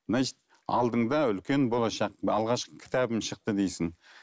значить алдыңда үлкен болашақ алғашқы кітабым шықты дейсің